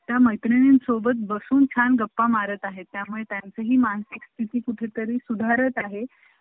त्या मैत्रिणीनं सोबत बसून छान गप्पा मारत आहे त्या मुळे त्यांचे हि मानसिकस्थिति कुठे तरी सुधरत आहे